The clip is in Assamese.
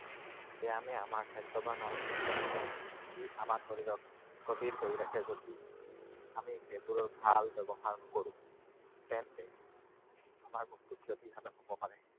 ব্যায়ামে আমাৰ স্বাস্থ্যৱান আৰু সুস্থ ৰাখে। ই আমাৰ শৰীৰক কৰি ৰাখে যদি আমি সেইবোৰৰ ভাল ব্যৱহাৰ নকৰোঁ। তেন্তে আমাৰ বহুতো ক্ষতিসাধন হব পাৰে।